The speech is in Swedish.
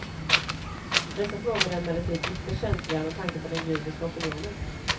Dessa frågor är emellertid ytterst känsliga med tanke på den judiska opinionen.